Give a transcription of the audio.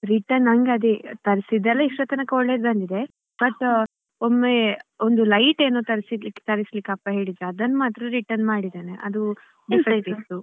Return ನಂಗ್ ಅದೇ ತರ್ಸಿದ್ದೆಲ್ಲಾ ಇಷ್ಟ್ರತನಕ ಒಳ್ಳೇದು ಬಂದಿದೆ but ಒಮ್ಮೆ ಒಂದ್ light ಏನೋ ತರಿಸ್~ ತರಿಸ್ಲಿಕ್ಕೆ ಅಪ್ಪ ಹೇಳಿದ್ರು ಅದನ್ನು ಮಾತ್ರ return ಮಾಡಿದ್ದೇನೆ ಅದು ಇತ್ತು.